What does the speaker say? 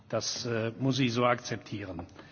Das muss ich so akzeptieren.